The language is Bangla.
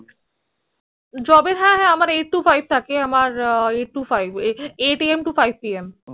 job এর হ্য়াঁ হ্য়াঁ আমার Eight To Five থাকে আমার Eight To Five Eight Am To Five Pm